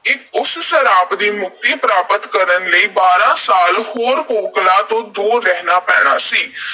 ਉਸ ਸਰਾਪ ਤੋਂ ਮੁਕਤੀ ਪ੍ਰਾਪਤ ਕਰਨ ਲਈ ਬਾਰ੍ਹਾਂ ਸਾਲ ਹੋਰ ਕੋਕਲਾਂ ਤੋਂ ਦੂਰ ਰਹਿਣਾ ਪੈਣਾ ਸੀ।